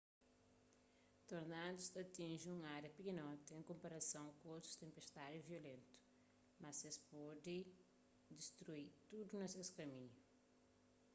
tornadus ta atinji un ária pikinoti en konparason ku otus tenpestadi violentu mas es pode destrui tudu na ses kaminhu